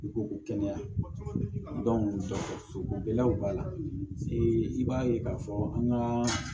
I ko ko kɛnɛya b'a la i b'a ye k'a fɔ an ka